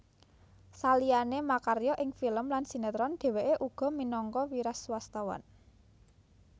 Saliyané makarya ing film lan sinétron dhèwèké uga minangka wiraswastawan